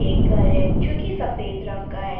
एक घर है जो कि सफेद रंग का है।